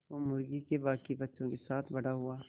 वो मुर्गी के बांकी बच्चों के साथ बड़ा हुआ